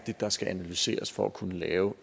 der skal analyseres for at kunne lave